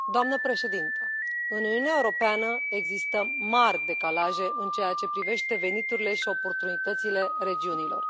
Doamnă președintă, în Uniunea Europeană există mari decalaje în ceea ce privește veniturile și oportunitățile regiunilor.